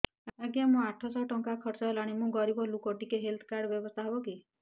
ଆଜ୍ଞା ମୋ ଆଠ ସହ ଟଙ୍କା ଖର୍ଚ୍ଚ ହେଲାଣି ମୁଁ ଗରିବ ଲୁକ ଟିକେ ହେଲ୍ଥ କାର୍ଡ ବ୍ୟବସ୍ଥା ହବ କି